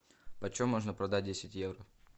почем можно продать десять евро